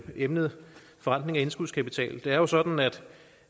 emnet forrentning af indskudskapital det er jo sådan